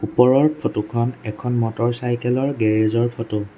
ওপৰৰ ফটো খন এখন মটৰচাইকেল ৰ গেৰেজ ৰ ফটো